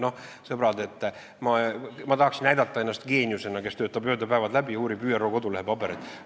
Noh, sõbrad, ma tahaksin näidata ennast geeniusena, kes töötab ööd ja päevad läbi ja uurib ÜRO kodulehel olevaid pabereid.